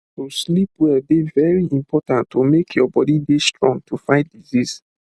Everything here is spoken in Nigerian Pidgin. to sleep well dey very important to make your body dey strong to fight disease